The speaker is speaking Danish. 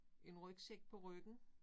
En rygsæk på ryggen